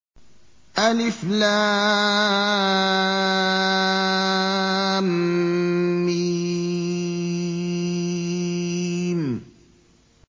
الم